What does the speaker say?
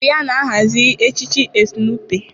Ọ bụ ya na-ahazi echichi Estu Nụpe.